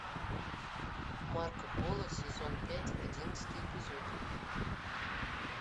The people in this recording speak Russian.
марко поло сезон пять одиннадцатый эпизод